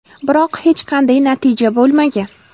Biroq, hech qanday natija bo‘lmagan.